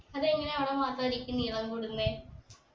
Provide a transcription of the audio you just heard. അതെങ്ങനെയാ അവിടെ മാത്രം അരിക്ക് നീളം കൂടുന്നെ